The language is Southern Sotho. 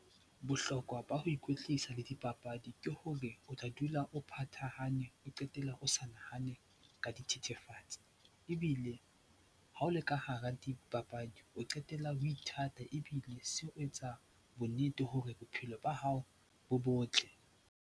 Bohlokwa ba ho ikwetlisa le dipapadi ke hore o tla dula o phathahanang, o qetella o sa nahane ka dithethefatsi ebile ha o le ka hara dipapadi o qetella o ithata ebile se o etsa bonnete hore bophelo ba hao bo botle.